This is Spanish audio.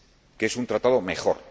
Que es un Tratado mejor.